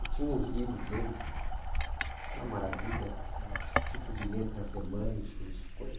Eu tinha uns livros dele, uma maravilha, uns tipos de letras alemães, toda essa coisa.